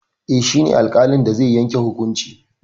Eh, shi ne alƙalin da zai yanke hukuncin.